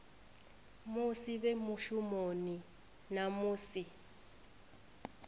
musi vhe mushumoni na musi